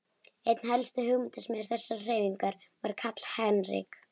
Einn helsti hugmyndasmiður þessarar hreyfingar var Karl Heinrich